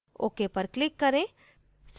ok पर click करें